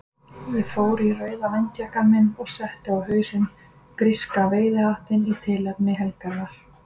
Ég fór í rauða vindjakkann minn og setti á hausinn gríska veiðihattinn í tilefni helgarinnar.